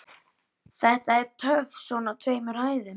Þetta er töff svona á tveimur hæðum.